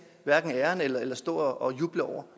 hverken æren for eller stå og juble over